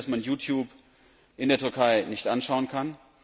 Sie wissen, dass man YouTube in der Türkei nicht anschauen kann.